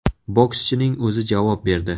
Bokschining o‘zi javob berdi.